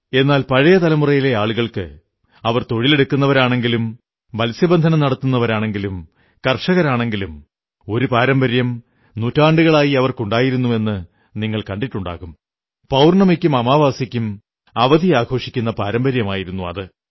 എന്നാൽ പഴയ തലമുറയിലെ ആളുകൾ തൊഴിലെടുക്കുന്നവരാണെങ്കിലും മത്സ്യബന്ധനം നടത്തുന്നവരാണെങ്കിലും ഒരു പാരമ്പര്യം നൂറ്റാണ്ടുകളായി ഉണ്ടായിരുന്നുവെന്നു നിങ്ങൾ കണ്ടിട്ടുണ്ടാകും പൌർണ്ണമിക്കും അമാവാസിക്കും അവധി ആഘോഷിക്കുന്ന പാരമ്പര്യമായിരുന്നു അത്